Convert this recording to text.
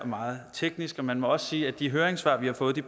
meget teknisk og man må også sige at de høringssvar vi har fået